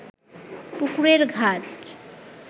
পুকুরের ঘাট